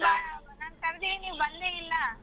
ನಾನ್ ಕರ್ದಿನಿ ನೀವ್ ಬಂದೆ ಇಲ್ಲಾ.